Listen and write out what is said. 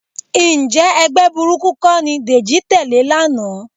Ǹjẹ́ ẹgbẹ́ burúkú kọ́ ni Dèjì tẹ̀lé lánàá?